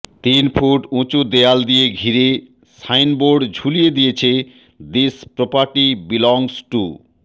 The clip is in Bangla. তিন ফুট উঁচু দেয়াল দিয়ে ঘিরে সাইনবোর্ড বুলিয়ে দিয়েছে দিস প্রপার্টি বিলংস টু